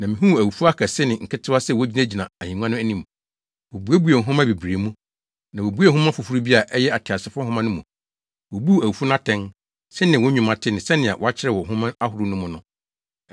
Na mihuu awufo akɛse ne nketewa sɛ wogyinagyina ahengua no anim. Wobuebuee nhoma bebree mu, na wobuee nhoma foforo bi a ɛyɛ ateasefo nhoma no mu. Wobuu awufo no atɛn, sɛnea wɔn nnwuma te ne sɛnea wɔakyerɛw wɔ nhoma ahorow no mu no.